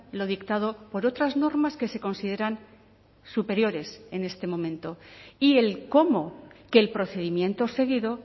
lo dictado por otras normas que se consideran superiores en este momento y el cómo que el procedimiento seguido